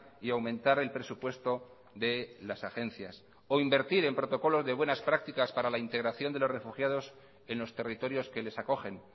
y aumentar el presupuesto de las agencias o invertir en protocolos de buenas prácticas para la integración de los refugiados en los territorios que les acogen